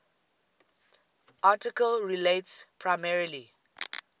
article relates primarily